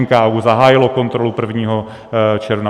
NKÚ zahájil kontrolu 1. června.